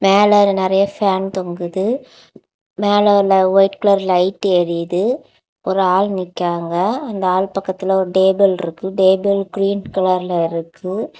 மேல நெறைய பேன் தொங்குது மேல வைட் கலர் லைட் எரியுது ஒரு ஆள் நிக்காங்க அந்த ஆள் பக்கத்துல ஒரு டேபிள் இருக்கு டேபிள் கிரீன் கலர்ல இருக்கு.